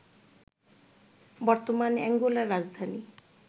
বর্তমান অ্যাঙ্গোলার রাজধানী